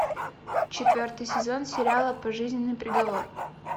четвертый сезон сериала пожизненный приговор